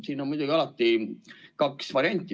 Siin on muidugi alati kaks varianti.